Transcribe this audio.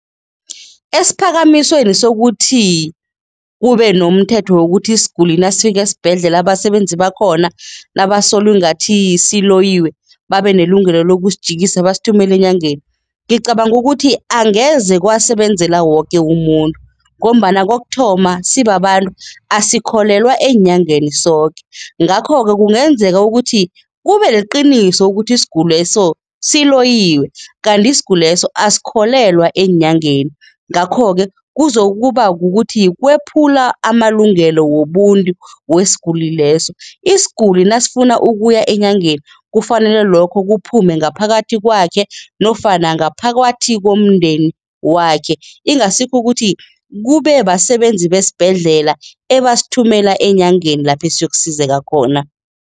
Esiphakamisweni sokuthi kube nomthetho wokuthi isiguli nasifika esibhedlela, abasebenzi bakhona nabasola ingathi siloyiwe, babe nelungelo lokusijikisa basithumele enyangeni, ngicabanga ukuthi angeze kwasebenzela woke umuntu ngombana kokuthoma sibabantu, asikholelwa eenyangeni soke. Ngakho-ke kungenzeka ukuthi kube liqiniso ukuthi isiguleso siloyiwe kanti isiguleso asikholelwa eenyangeni, ngakho-ke kuzokuba kukuthi kwephula amalungelo wobuntu wesiguli leso. Isiguli nasifuna ukuya enyangeni kufanele lokho kuphume ngaphakathi kwakhe nofana ngaphakathi komndeni wakhe, ingasikho ukuthi kube basebenzi besibhedlela ebasithumela eenyangeni lapha esiyokusizeka khona.